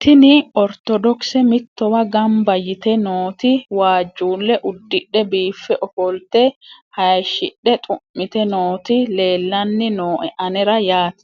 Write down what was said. tini ortodokise mittowa gamba yite nooti waajjulle udidhe biife ofolte hayshidhe xu'mite nooti lelanni nooe anera yaate